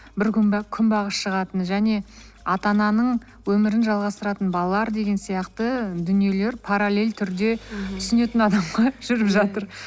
бір күн бе күнбағыс шығатыны және ата ананың өмірін жалғастыратын балалар деген сияқты дүниелер паралель түрде түсінетін адамға жүріп жатыр